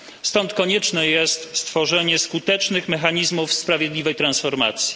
Stąd konieczne jest stworzenie skutecznych mechanizmów sprawiedliwej transformacji.